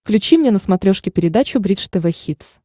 включи мне на смотрешке передачу бридж тв хитс